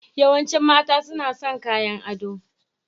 Yawancin mata suna son kayan ado.